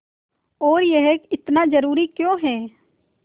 और यह इतना ज़रूरी क्यों है